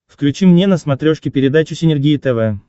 включи мне на смотрешке передачу синергия тв